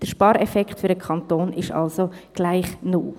Der Spareffekt für den Kanton wäre also gleich null.